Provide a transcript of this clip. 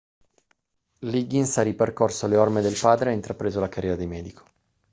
liggins ha ripercorso le orme del padre e ha intrapreso la carriera di medico